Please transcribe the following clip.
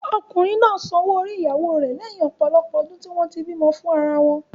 Ọkùnrin náà san owó orí ìyàwóo rẹ lẹhin ọ̀pọ̀lọpọ̀ ọdún tí wọ́n tí bímọ fún ara wọn.